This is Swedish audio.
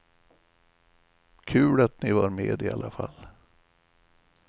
Kul att ni var med i alla fall.